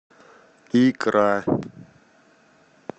икра